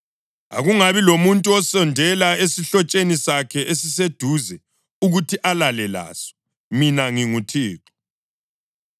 Akungabi lamuntu osondela esihlotsheni sakhe esiseduze ukuthi alale laso. Mina nginguThixo.